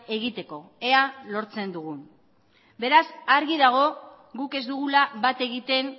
egiteko ea lortzen dugun beraz argi dago guk ez dugula bat egiten